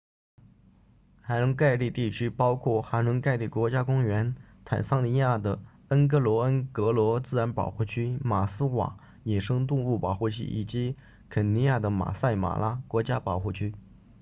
塞伦盖蒂 serengeti 地区包括塞伦盖蒂 serengeti 国家公园坦桑尼亚的恩戈罗恩戈罗 ngorongoro 自然保护区马斯瓦 maswa 野生动物保护区以及肯尼亚的马赛马拉 maasai mara 国家保护区